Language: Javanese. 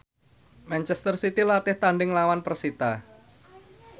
manchester city latih tandhing nglawan persita